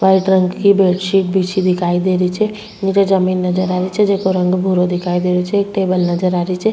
White रंग की bedsheet बिछी दिखाई दे री छे निचे जमीं नजर आ री छे जेको रंग भूरो दिखाई देरो छे एक टेबल नजर आ रही छे।